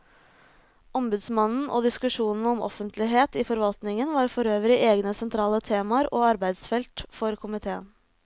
Ombudsmannen og diskusjonen om offentlighet i forvaltningen var forøvrig egne sentrale temaer og arbeidsfelt for komiteen.